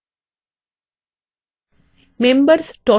membersname click করুন